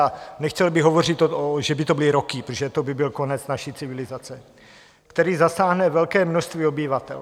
A nechtěl bych hovořit, že by to byly roky, protože to by byl konec naší civilizace, který zasáhne velké množství obyvatel.